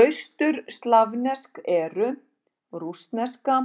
Austurslavnesk eru: rússneska,